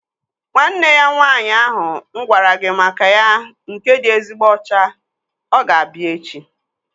Nwanne ya nwaanyị ahụ mụ gwara gị maka ya nke dị ezigbo ọcha, ọ g-abịa echi